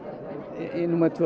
í númer tvö